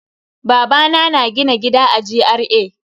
Babana na gina gida a GRA.